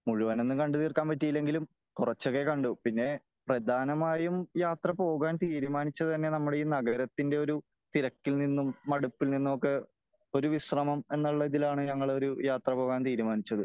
മുഴുവനൊന്നും കണ്ട് തീർക്കാൻപറ്റിയില്ലെങ്കിലും കുറച്ചൊക്കെ കണ്ടു . പിന്നെ പ്രധാനമായും യാത്ര പോകാൻ തീരുമാനിച്ചത് തന്നെ നമ്മളെ ഈ നഗരത്തിന്റെ ഒരു തിരക്കിൽ നിന്നും മടുപ്പിൽ നിന്നുമൊക്കെ ഒരു വിശ്രമം എന്നുള്ള ഇതിലാണ് നമ്മൾ യാത്ര പോകാൻ തീരുമാനിച്ചത് .